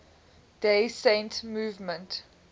day saint movement